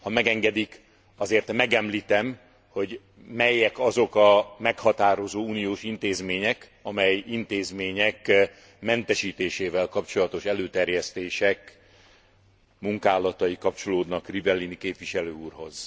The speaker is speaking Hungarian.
Ha megengedik, azért megemlítem, hogy melyek azok a meghatározó uniós intézmények, amely intézmények mentesítésével kapcsolatos előterjesztések munkálatai kapcsolódnak Rivellini képviselő úrhoz.